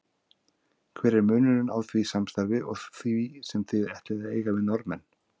Hver er munurinn á því samstarfi og því sem þið ætlið að eiga við Norðmenn?